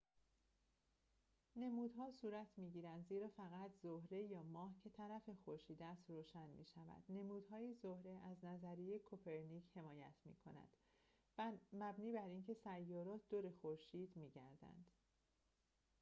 نمودها صورت می‌گیرند زیرا فقط طرف زهره یا ماه که طرف خورشید است روشن می‌شود. نمودهای زهره از نظریه کوپرنیک حمایت می‌کند مبنی براینکه سیارات دور خورشید می‌گردند